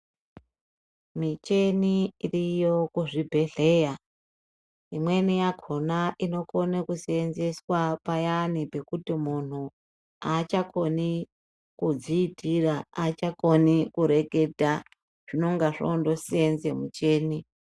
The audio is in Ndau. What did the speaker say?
Micheni iriyo kuzvibhedhleya imweni yakhona inokona kuseenzeswa payani pekuti munhu achakoni kudziitira, achakoni kureketa zvinonga zvondoseenza micheni.